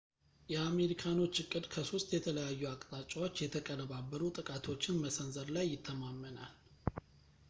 የአሜሪካኖች ዕቅድ ከሶስት የተለያዩ አቅጣጫዎች የተቀነባበሩ ጥቃቶችን መሰንዘር ላይ ይተማመናል